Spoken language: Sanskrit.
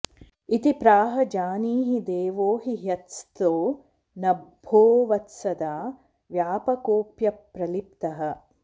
इति प्राह जानीहि देवो हि हृत्स्थो नभोवत्सदा व्यापकोऽप्यप्रलिप्तः